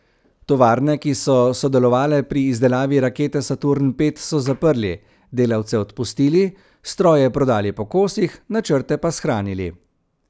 Tovarne, ki so sodelovale pri izdelavi rakete Saturn V, so zaprli, delavce odpustili, stroje prodali po kosih, načrte pa shranili.